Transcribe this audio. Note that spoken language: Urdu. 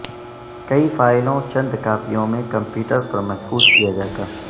کئی فائلوں چند کاپیوں میں کمپیوٹر پر محفوظ کیا جاتا